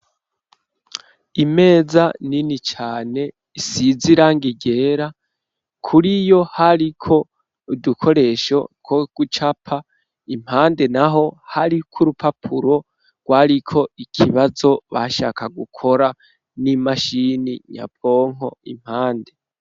Imeza nini cane isize irangi ryera. Kur'iyo, hariko udukoresho two gucapa, impande naho, hariko urupapuro rwariko ikibazo, bashaka gukora n'imashini nyabwonko impande.